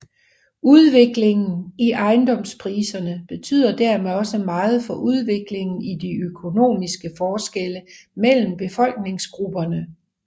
Udviklingen i ejendomspriserne betyder dermed også meget for udviklingen i de økonomiske forskelle mellem befolkningsgrupperne